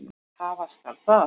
Hafa skal það.